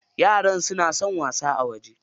Yaran suna son wasa a waje.